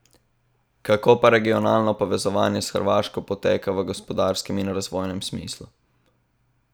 Kako pa regionalno povezovanje s Hrvaško poteka v gospodarskem in razvojnem smislu?